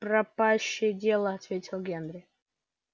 пропащее дело ответил генри